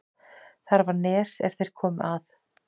Þar var nes er þeir komu að.